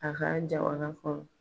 A ka jamana kɔnɔ.